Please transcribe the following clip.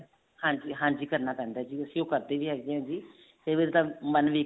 ਹਾਂਜੀ ਹਾਂਜੀ ਕਰਨਾ ਪੈਂਦਾ ਤੇ ਅਸੀਂ ਉਹ ਕਰਦੇ ਵੀ ਹੈਗੇ ਹਾਂ ਕਈ ਵਾਰੀ ਤਾਂ ਮਨ ਵੀ